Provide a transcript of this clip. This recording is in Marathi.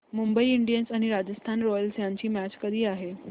मुंबई इंडियन्स आणि राजस्थान रॉयल्स यांची मॅच कधी आहे